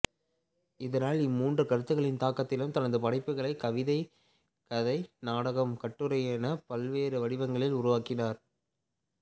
இதனால் இம்மூன்று கருத்துகளின் தாக்கத்திலும் தனது படைப்புகளை கவிதை கதை நாடகம் கட்டுரையென பல்வேறு வடிவங்களில் உருவாக்கினார்